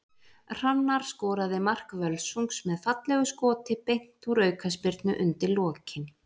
Hrannar skoraði mark Völsungs með fallegu skoti beint úr aukaspyrnu undir lokin.